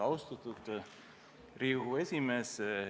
Austatud Riigikogu esimees!